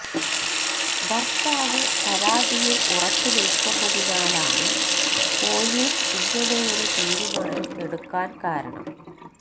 ഭര്ത്താവ് പരാതിയില് ഉറച്ചു നില്ക്കുന്നതിനാലാണ് പൊലീസ് ഇങ്ങനെയൊരു തീരുമാനം എടുക്കാന് കാരണം